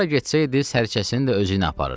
Hara getsəydi, Sərçəsini də özüylə aparırdı.